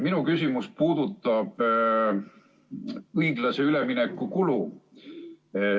Minu küsimus puudutab õiglase ülemineku kulu.